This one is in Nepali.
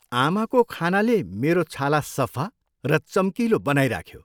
आमाको खानाले मेरो छाला सफा र चम्किलो बनाइराख्यो।